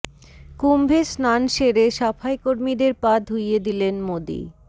কুম্ভে স্নান সেরে সাফাই কর্মীদের পা ধুইয়ে দিলেন মোদী